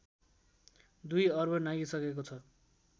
दुई अर्ब नाघिसकेको छ